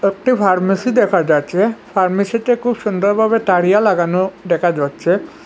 একটি ফার্মেসি দেখা যাচ্ছে ফার্মেসিতে খুব সুন্দর ভাবে তারিয়া লাগানো দেখা যাচ্ছে।